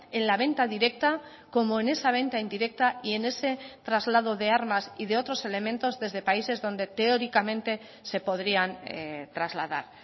en la venta directa como en esa venta indirecta y en ese traslado de armas y de otros elementos desde países donde teóricamente se podrían trasladar